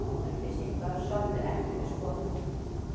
Selfyssingar sömdu ekki við Skotann